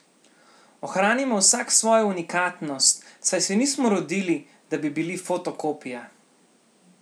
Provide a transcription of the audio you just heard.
Ohranimo vsak svojo unikatnost, saj se nismo rodili, da bi bili fotokopija.